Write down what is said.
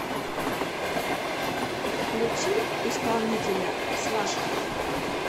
включи исполнителя слаши